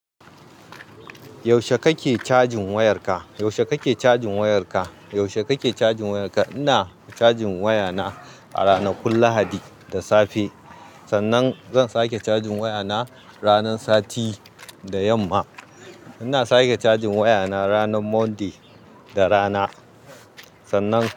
Yaushe kake cajin wayarka? Yaushe kake cajin wayarka? Yaushe kake cajin wayarka? Ina cajin wayata a ranakun Lahadi da safe. Sannan zan sake cajin wayana ranar Sati da yamma. Ina sake cajin wayana ranar Monday da rana. Sannan.